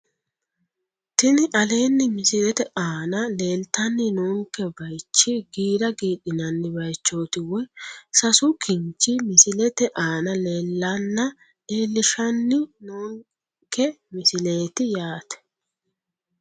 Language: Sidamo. Tini aleenni misilete aana lleeltanni noonke baychi giira giidhinanni baychooti woyi sasu kinchi misilete aana leellanna leellishshanni noonke misileeti yaate